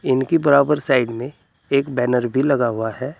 इनकी बराबर साइड में एक बैनर भी लगा हुआ है।